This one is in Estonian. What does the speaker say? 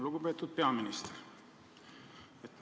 Lugupeetud peaminister!